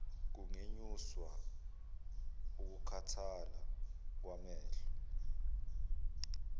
kungenyusa ukukhathala kwamehlo